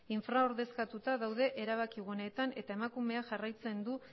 infraordezkatuta daude erabaki guneetan eta emakumea jarraitzen du